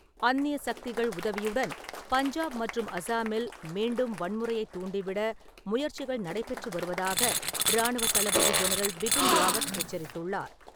அந்நிய சக்திகள் உதவியுடன் பஞ்சாப் மற்றும் அஸ்ஸாமில் மீண்டும் வன்முறையைத் தூண்டிவிட முயற்சிகள் நடைபெற்று வருவதாக ராணுவத் தளபதி ஜென்ரல் பிபின் ராவத் எச்சரித்துள்ளார்.